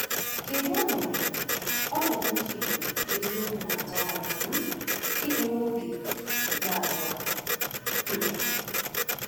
Kedu ọnọdụ ọnọdụ ndị Igbo eziokwu na-atụ anya um ịhụ n’oge “ikpeazụ” a? um